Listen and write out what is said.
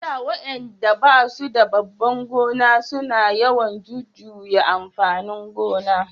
a da wayanda ba su da babban gona suna yawan jujuyan amfanin gona